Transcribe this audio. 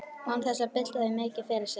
Og án þess að bylta því mikið fyrir sér.